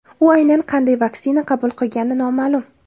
U aynan qanday vaksina qabul qilgani noma’lum.